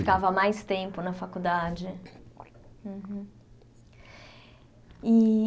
Ficava mais tempo na faculdade.